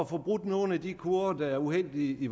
får brudt nogle af de kurver der er uheldige i